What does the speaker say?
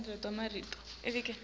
embi kwenu lamuhla